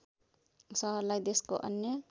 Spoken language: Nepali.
सहरलाई देशको अन्य